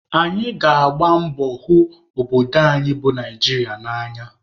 Anyị ga-agba mbọ hụ obodo anyị bụ Naijiria n'anya